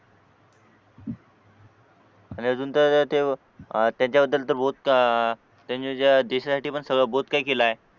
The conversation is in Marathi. आणि अजून ते अह त्याच्याबद्दल तर बहुत अह त्यांनी जे देशासाठी पण सगळं बहुत काही केल आहे